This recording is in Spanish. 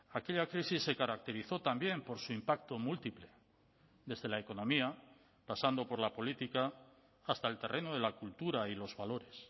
aquella crisis se caracterizó también por su impacto múltiple desde la economía pasando por la política hasta el terreno de la cultura y los valores